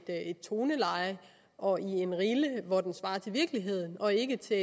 toneleje og ind i en rille hvor den svarer til virkeligheden og ikke til